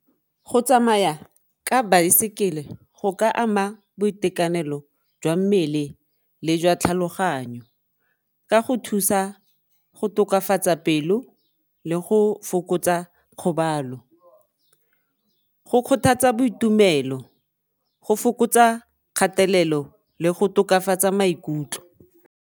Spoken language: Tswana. Go tsamaya ka baesekele go ka ama boitekanelo jwa mmele le jwa tlhaloganyo ka go thusa go tokafatsa pelo le go fokotsa kgobalo, go kgothatsa boitumelo, go fokotsa kgatelelo le go tokafatsa maikutlo.